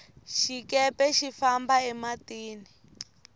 xikepe xi famba e matini